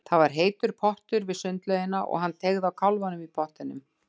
Það var heitur pottur við sundlaugina og hann teygði á kálfanum í pottinum.